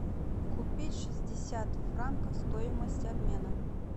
купить шестьдесят франков стоимость обмена